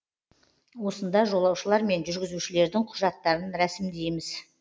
осында жолаушылар мен жүргізушілердің құжаттарын рәсімдейміз